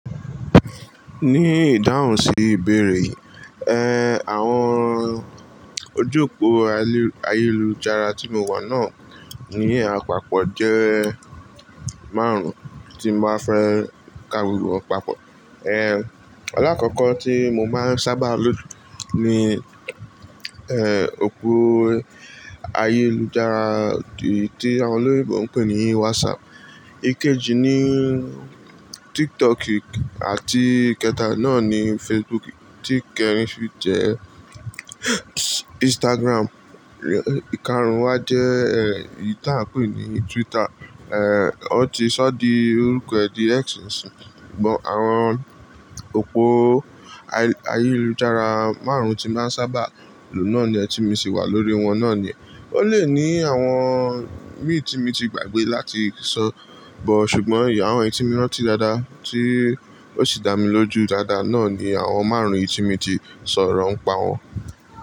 Ní ìdáhùn sí ìbéèrè, ẹ, àwọn ojú òpó ayélujára tí mo wà náà ni apapọ jẹ́ márùn tí n bá fẹ́ ka gbogbo wọn papọ̀. Ẹ álákọ̀ọ́kọ̀ ti mo má ń sábà lò jù ni ẹn òpó ayélujára tí àwọn olóyìnbó ń pè ní whatsapp ìkejì ni tiktok àti ìkẹta náà ni facebook tí ìkẹrin sì jẹ́ instagram ìkarùún wá jẹ́ ẹn èyi tá àń pe ni twitter Ẹ, ó ti sọ́ di orúkọ ẹ̀ di X bọ̀ àwọn òpó ayélujára márùn-ún tí máa ń sábà lò náà nìyẹn tí mo sì wà lóríi wọn náà nìyẹn. Ó lè ní àwọn míìn tí mo ti gbàgbé láti sọ̀, bọ̀ ṣùgbọ́n àwọn èyí tí mi ránti dáadáa tí ó sì dá mi lójú dáadáa náà ni àwọn márùn-ún yìí tí mi ti sọ̀rọ̀ ń pa wọn.